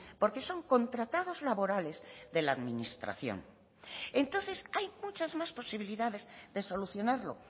porque son contratados laborales de la administración entonces hay muchas más posibilidades de solucionarlo